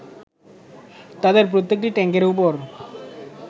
তাঁদের প্রত্যেকটি ট্যাংকের উপর